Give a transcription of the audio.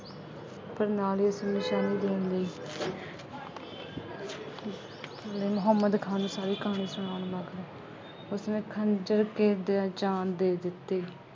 ਪਰ ਨਾਲ ਹੀ ਉਸਨੇ ਸ਼ਾਹੀ ਲਈ ਮੁਹੰਮਦ ਖਾਨ ਨੂੰ ਸਾਰੀ ਕਹਾਣੀ ਸੁਣਾਉਣ ਮਗਰੋਂ ਉਸਨੇ ਖੰਜ਼ਰ ਕੇਰ ਦਿਆਂ ਜਾਨ ਦੇ ਦਿੱਤੀ।